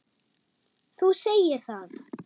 Þú segir það!